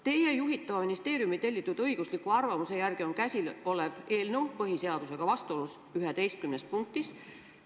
Teie juhitava ministeeriumi tellitud õigusliku hinnangu järgi on käsil olev eelnõu põhiseadusega vastuolus 11 punktis.